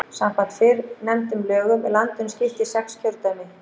Samkvæmt fyrrnefndum lögum er landinu skipt í sex kjördæmi.